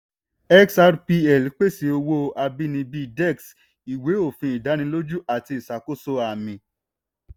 xrpl pèsè owó abínibí dex ìwé òfin ìdánilójú àti ìṣàkóso àmì.